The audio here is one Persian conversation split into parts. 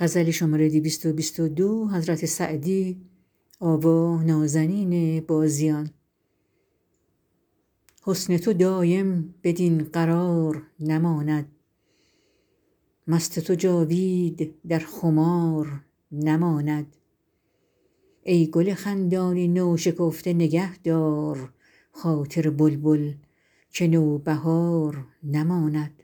حسن تو دایم بدین قرار نماند مست تو جاوید در خمار نماند ای گل خندان نوشکفته نگه دار خاطر بلبل که نوبهار نماند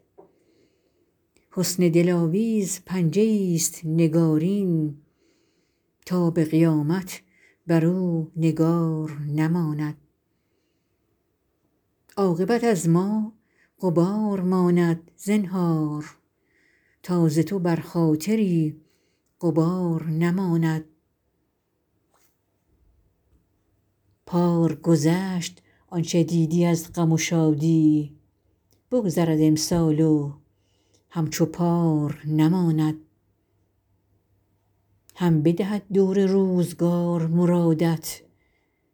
حسن دلاویز پنجه ایست نگارین تا به قیامت بر او نگار نماند عاقبت از ما غبار ماند زنهار تا ز تو بر خاطری غبار نماند پار گذشت آن چه دیدی از غم و شادی بگذرد امسال و همچو پار نماند هم بدهد دور روزگار مرادت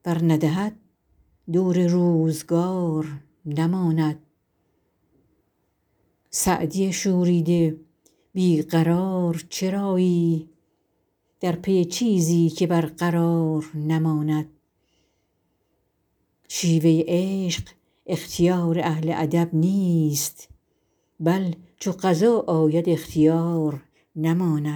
ور ندهد دور روزگار نماند سعدی شوریده بی قرار چرایی در پی چیزی که برقرار نماند شیوه عشق اختیار اهل ادب نیست بل چو قضا آید اختیار نماند